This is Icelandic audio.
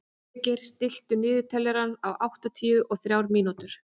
Végeir, stilltu niðurteljara á áttatíu og þrjár mínútur.